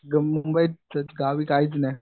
मुंबईतच गावी काहीच नाही.